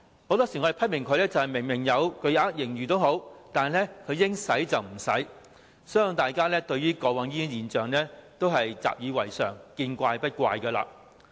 很多時候，我們批評政府即使有巨額盈餘，但應花不花，相信大家過往對於這現象已習已為常，見怪不怪。